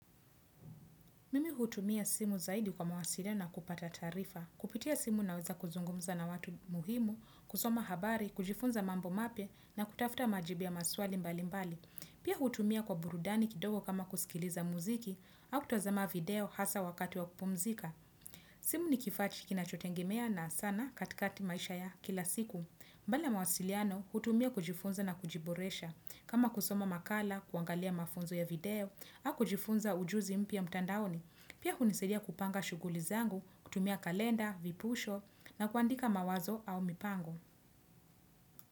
Mimi hutumia simu zaidi kwa mawasiliano kupata taarifa. Kupitia simu naweza kuzungumza na watu muhimu, kusoma habari, kujifunza mambo mapya na kutafuta majibu ya maswali mbali mbali. Pia hutumia kwa burudani kidogo kama kusikiliza muziki au kutazama video hasa wakati wa kupumzika. Simu ni kifaa kinachotegemeana sana katikati maisha ya kila siku. Mbali ya mwasiliano hutumia kujifunza na kujiboresha kama kusoma makala, kuangalia mafunzo ya video, na kujifunza ujuzi mpya mtandaoni. Pia kunisidia kupanga shuguli zangu, kutumia kalenda, vipusho na kuandika mawazo au mipango.